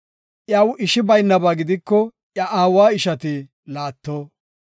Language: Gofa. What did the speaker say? Iyaw ishi baynaba gidiko iya aawa ishati laatto.